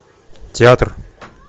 театр